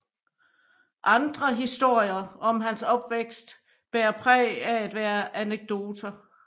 Andre historier om hans opvækst bærer præg af at være anekdoter